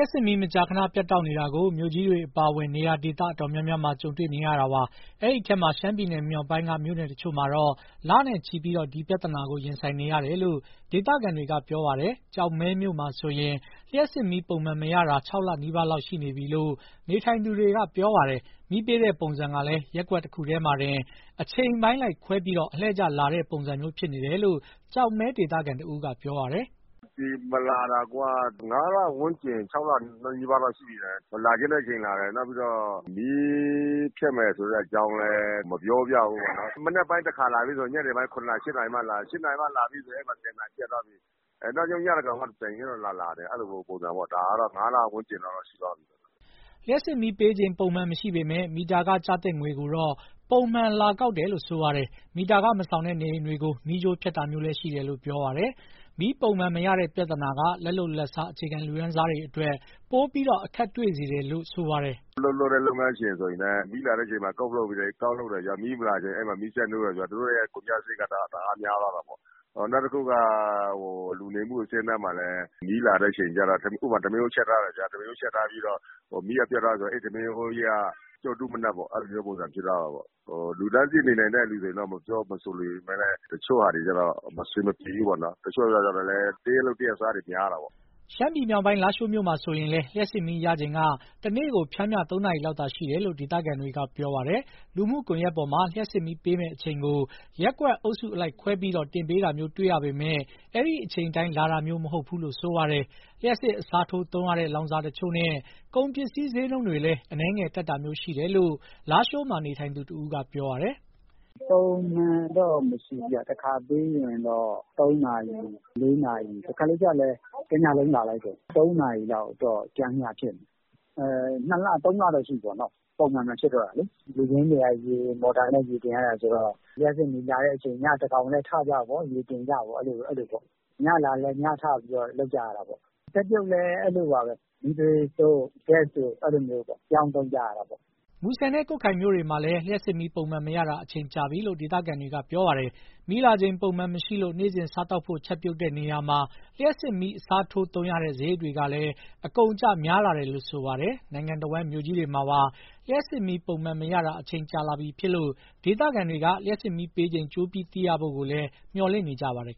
ပ်စစ်မီး မကြာခဏ ပြတ်တောက်နေတာကို မြို့ကြီးတွေ အပါအဝင် နေရာဒေသ အတော်များများမှာ ကြုံတွေ့နေရတာပါ။ အဲဒီထဲမှာ ရှမ်းပြည်နယ် မြောက်ပိုင်းက မြို့နယ်တချို့မှာတော့ လနဲ့ချီပြီး ဒီပြဿနာကို ရင်ဆိုင်နေရတယ်လို့ ဒေသခံတွေက ပြောပါတယ်။ ကျောက်မဲမြို့မှာဆိုရင် လျှပ်စစ်မီးပုံမှန်မရတာက ၆ လနီးပါးလောက်ရှိပြီလို့ နေထိုင်သူတွေက ပြောပါတယ်။ မီးပေးတဲ့ပုံစံကလည်း ရပ်ကွက် ၁ ခုတည်းမှာတင် အချိန်အပိုင်းလိုက်ခွဲပြီး အလှည့်ကျလာတဲ့ပုံစံမျိုး ဖြစ်နေတယ်လို့ ကျောက်မဲဒေသခံတဦးက ပြောပါတယ်။ "လျှပ်စစ်မီး ပုံမှန်မလာတာက ၅ လ ဝန်းကျင်၊ ၆ လ နီးပါးလောက်ရှိတယ်။ လာချင်တဲ့အချိန်လာတယ်။ နောက်ပြီးတော့ မီးဖြတ်မယ်ဆိုတဲ့ အကြောင်းလည်း မပြောပြဘူးပေါ့နော်။ မနက်ပိုင်း တခါလာပြီးရင် ညနေပိုင်း ၇ နာရီ၊ ၈ နာရီမှ ပြန်လာတယ်။ ၈ နာရီမှ လာပြီးပြီဆို ၁၀ နာရီမှာ ပြန်ပျက်သွားပြီ။ နောက်ဆုံး ညသန်းခေါင်မှ ပြန်လာချင်လာတယ်။ အဲလိုပုံစံမျိုးက ၅ လ ဝန်းကျင်လောက်တော့ ရှိသွားပြီ။" လျှပ်စစ်မီးပေးချိန် ပုံမှန်မရှိပေမယ့် မီတာခကျသင့်ငွေကိုတော့ ပုံမှန်လာကောက်တယ်လို့ ပြောပါတယ်။ မီတာခမဆောင်တဲ့ နေအိမ်တွေကို မီးကြိုးဖြတ်တာမျိုးလည်း ရှိတယ်လို့ ပြောပါတယ်။ မီးပုံမှန်မရတဲ့ပြဿနာက လက်လုပ်လက်စား အခြေခံလူတန်းစားတွေအတွက် ပိုပြီးအခက်တွေ့စေတယ်လို့ ပြောပါတယ်။ "အလုပ်လုပ်တဲ့ လုပ်ငန်းရှင်ဆိုရင်လည်း မီးလာတဲ့အချိန် ကောက်လုပ်တယ်ဗျာ။ မီးမလာတဲ့အချိန်ကျ မီးစက်နှိုးရတာဆိုတော့ သူတို့ရဲ့ ကုန်ကျစရိတ်က တအားများသွားတာပေါ့။ နောက်တခုက လူနေမှုအဆင့်အတန်းမှာလည်း မီးလာတဲ့အချိန်ကျတော့ ဥပမာ ထမင်းအိုးချက်ထားတယ်ဗျာ။ ထမင်းအိုးချက်ထားပြီးတော့ မီးကပျက်သွားတယ်ဆို အဲဒီထမင်းအိုးကြီးက ပြုတ်တူးမနပ်ပုံစံ ဖြစ်သွားတာပေါ့။ အဲဒီမှာ ပစ်လိုက်ရပြီလေ။ လူတန်းစေ့နေနိုင်တဲ့ သူတွေအတွက် မဆိုလိုပေမယ့်လည်း တချို့အတွက်က အဆင်မပြေဘူးပေါ့နော်။ တချို့က တရက်လုပ် တရက်စားတွေ များတော့လေ။" ရှမ်းပြည်မြောက်ပိုင်း လားရှိုးမြို့မှာဆိုရင်လည်း လျှပ်စစ်မီးရချိန်က တနေ့ကို ပျမ်းမျှ ၃ နာရီလောက်သာ ရှိတယ်လို့ ဒေသခံတွေက ပြောပါတယ်။ လူမှုကွန်ယက်ပေါ်မှာ လျှပ်စစ်မီးပေးမယ့်အချိန်ကို ရပ်ကွက်အုပ်စုအလိုက်ခွဲပြီး တင်ပေးတာမျိုး တွေ့ရပေမယ့် အဲဒီအချိန်အတိုင်း လာတာမျိုးမဟုတ်ဘူးလို့ ပြောပါတယ်။ လျှပ်စစ်အစားထိုးသုံးရတဲ့ လောင်စာတချို့နဲ့ ကုန်ပစ္စည်းဈေးနှုန်းတွေလည်း အနည်းငယ်တက်တာမျိုး ရှိတယ်လို့ လားရှိုးမှာနေထိုင်သူတဦးက ပြောပါတယ်။ "ပုံမှန်တော့ မရှိဘူးဗျ။ တခါပေးရင်တော့ ၃ နာရီ၊ ၄ နာရီ။ တခါတလေကျတော့လည်း တညလုံးလာလိုက်တယ်။ တနေ့မီးပေးချိန်က ပျမ်းမျှဆို ၃ နာရီလောက်ဖြစ်နေတယ်။ အဲလိုဖြစ်နေတာ ၂ လ၊ ၃ လတော့ရှိပြီပေါ့နော်။ ရေတွင်းကနေ ရေကိုမော်တာနဲ့ တင်ရတာဆိုတော့ လျှပ်စစ်မီးလာတဲ့အချိန် ညသန်းခေါင်လည်း ထပြီးရေတင်ကြပေါ့။ ညလာတော့လည်း ညထပြီးတော့ လုပ်ကြရတာပေါ့။ ချက်ပြုတ်ဖို့လည်း မီးသွေးတို့၊ ဂတ်စ်တို့ ပြောင်းသုံးကြရတာပေါ့။" မူဆယ်နဲ့ ကွတ်ခိုင်မြို့တွေမှာလည်း လျှပ်စစ်မီးပုံမှန်မရတာ အချိန်ကြာပြီလို့ ဒေသခံတွေက ပြောပါတယ်။ မီးလာချိန်ပုံမှန်မရှိလို့ နေ့စဉ်စားသောက်ဖို့ ချက်ပြုတ်တဲ့နေရာမှာ လျှပ်စစ်မီးအစားထိုးသုံးရတဲ့ စရိတ်တွေကလည်း အကုန်အကျများလာတယ်လို့ ပြောပါတယ်။ နိုင်ငံတဝန်း မြို့ကြီးတွေမှာပါ လျှပ်စစ်မီးပုံမှန်မရတာ အချိန်ကြာလာပြီဖြစ်လို့ ဒေသခံတွေက လျှပ်စစ်မီးပေးချိန် ကြိုပြီးသိရဖို့ကိုလည်း မျှော်လင့်နေကြပါတယ်